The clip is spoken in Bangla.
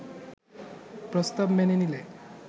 প্রস্তাব মেনে নিলে